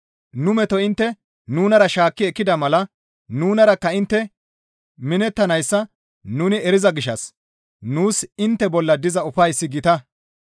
Nu meto intte nunara shaakki ekkida mala nunarakka intte minettanayssa nuni eriza gishshas nuus intte bolla diza ufayssi gita.